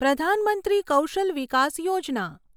Pradhan Mantri Kaushal Vikas Yojana